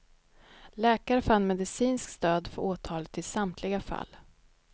Läkare fann medicinskt stöd för åtalet i samtliga fall.